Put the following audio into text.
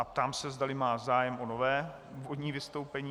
A ptám se, zdali má zájem o nové úvodní vystoupení.